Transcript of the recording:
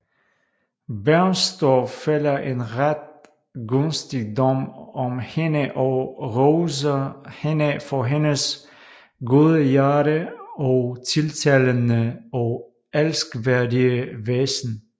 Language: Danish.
Bernstorff fælder en ret gunstig dom om hende og roser hende for hendes gode hjerte og tiltalende og elskværdige væsen